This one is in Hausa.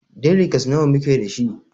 Deliges nawa muke dashi?